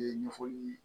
Ɲɛfɔli